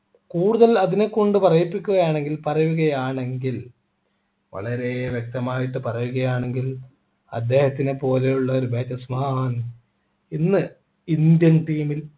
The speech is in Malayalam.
കൂടുതൽ അതിനെ കൊണ്ട് പറയിപ്പിക്കുകയാണെങ്കിൽ പറയുകയാണെങ്കിൽ വളരെ വ്യക്തമായിട്ട് പറയുകയാണെങ്കിൽ അദ്ദേഹത്തിനെ പോലെയുള്ള ഒരു batsman ഇന്ന് indian team ൽ